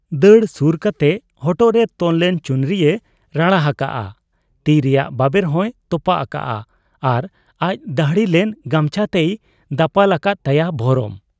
ᱫᱟᱹᱲ ᱥᱩᱨ ᱠᱟᱛᱮ ᱦᱚᱴᱚᱜᱨᱮ ᱛᱚᱞ ᱞᱮᱱ ᱪᱩᱱᱨᱤᱭᱮ ᱨᱟᱲᱟ ᱦᱟᱠᱟᱜ ᱟ, ᱛᱤ ᱨᱮᱭᱟᱜ ᱵᱟᱵᱮᱨ ᱦᱚᱸᱭ ᱛᱚᱯᱟᱜ ᱟᱠᱟᱜ ᱟ ᱟᱨ ᱟᱡ ᱫᱟᱹᱦᱲᱤ ᱞᱮᱱ ᱜᱟᱢᱪᱷᱟᱛᱮᱭ ᱫᱟᱯᱟᱞ ᱟᱠᱟᱫ ᱛᱟᱭᱟ ᱵᱷᱚᱨᱚᱢ ᱾